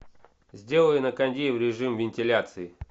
сделай на кондее в режим вентиляции